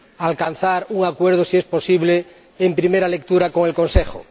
alcanzar un acuerdo, si es posible, en primera lectura con el Consejo.